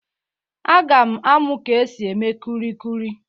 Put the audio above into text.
Aga m amụ ka e si eme kulikuli.